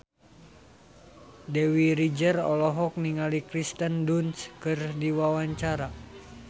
Dewi Rezer olohok ningali Kirsten Dunst keur diwawancara